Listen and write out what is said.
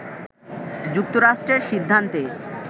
“যুক্তরাষ্ট্রের সিদ্ধান্তে